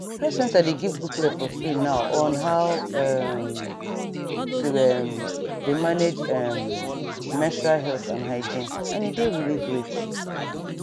health center dey give booklet for free now on how um to um dey manage um menstrual health and hygiene and e dey really great